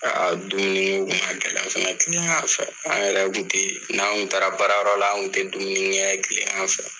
dumuni kun ka gɛlɛn fɛnɛ kilegan fɛ, an yɛrɛ kun te n'an taara baarayɔrɔ la, an kun te dumuni kɛ kilegan fɛ.